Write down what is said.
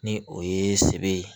Ni o ye sebe ye